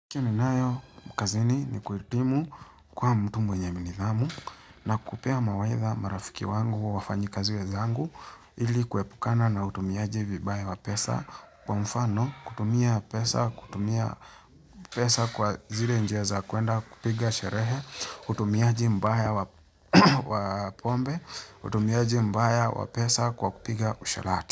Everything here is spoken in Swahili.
Ninayo kazini ni kuhitimu kuwa mtu mwenye nidhamu na kupea mawaidha marafiki wangu au wafanyikazi wenzangu, ili kuepukana na utumiaji vibaya wa pesa, kwa mfano, kutumia pesa, kutumia pesa kwa zile njia za kuenda kupiga sherehe, utumiaji mbaya wa wa pombe, utumiaji mbaya wa pesa kwa kupiga usherati.